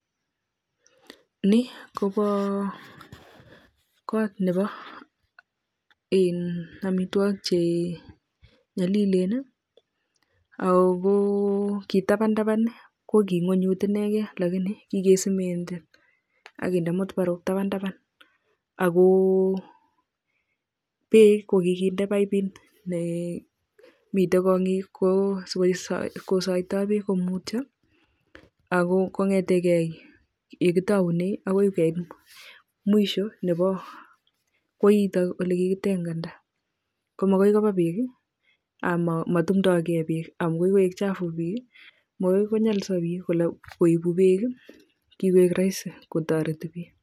Nii koboo kot neboo amitwokik che nyolilel ak ko kii taban taban ko kii ingonyut inekei lakini kii kee simenden ak kendee matubaruk taban taban ak ko beek ko kii kende paibinik nee mitei kongiik ko sikoisaitoo beek ak ko konyetekei nyee kitaunei ak ko keeit mwisho nebo koitok neikii kiteganda ko makoi koba beek ama tumnda kei beek amu chafu makonyoliso biik kole koibu beek kikoik roisi ak ko toreti biik